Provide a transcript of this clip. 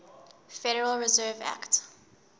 federal reserve act